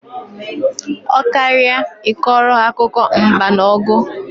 Ọ karịa I kọrọ ha akụkọ mba na ọgụ